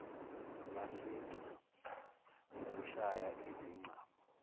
masseter ngokushaya izingcabo